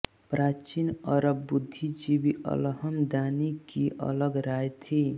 प्राचीन अरब बुद्धिजीवी अलहमदानी की अलग राय थी